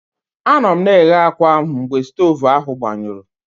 Anọ m na-eghe akwa ahụ mgbe stovu ahụ gbanyụrụ.